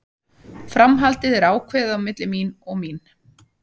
Framhaldið er ákveðið á milli mín og mín.